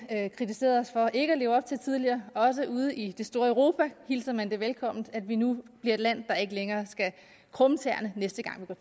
kritiserede os for ikke at leve op til tidligere også ude i det store europa hilser man det velkommen at vi nu bliver et land hvor ikke længere skal krumme tæer næste gang vi